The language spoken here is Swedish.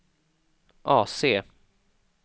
AC